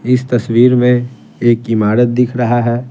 इस तस्वीर में एक इमारत दिख रहा है।